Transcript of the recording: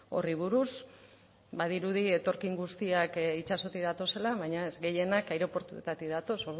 horri buruz badirudi etorkin guztiak itsasotik datozela baina ez gehienak aireportuetatik datoz